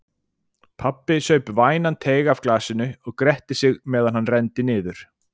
Pabbi saup vænan teyg af glasinu og gretti sig meðan hann renndi niður.